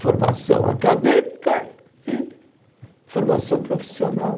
Formação acadêmica e formação profissional.